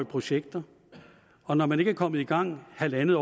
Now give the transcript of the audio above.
projekter og når man ikke er kommet i gang halvandet